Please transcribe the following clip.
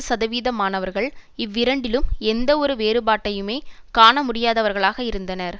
சதவீதமானவர்கள் இவ்விரண்டிலும் எந்தவொரு வேறுபாட்டையுமே காணமுடியாதவர்களாக இருந்தனர்